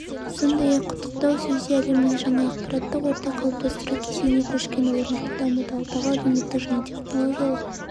сондай-ақ құттықтау сөзде әлемнің жаңа ақпараттық орта қалыптастыру кезеңіне көшкені орнықты дамуды алдағы әлеуметтік және технологиялық